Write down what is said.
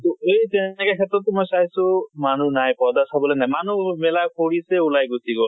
তʼ এই যে এনেকে ক্ষেত্ৰতো মই চোইছো মানুহ নাই। পৰ্দা চাবলৈ মানুহ নাই মানুুহ মেলা কৰিছে ওলাই গুছি গল।